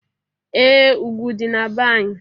Ee! Ugwu dị na be anyị.